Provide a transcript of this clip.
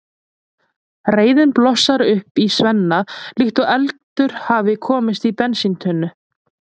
Reiðin blossar upp í Svenna líkt og eldur hafi komist í bensíntunnu.